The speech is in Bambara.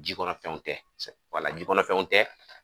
Jikɔnɔfɛnw tɛ wala jikɔnɔfɛnw tɛ.